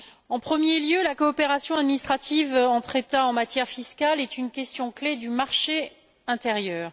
En premier lieu, la coopération administrative entre États en matière fiscale est une question clé du marché intérieur.